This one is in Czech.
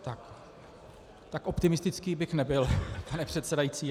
Tak optimistický bych nebyl, pane předsedající.